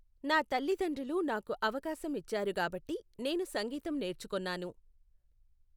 నా తల్లిదండ్రులు నాకు అవకాశం ఇచ్చారు గాబట్టి నేను సంగీతం నేర్చుకొన్నాను.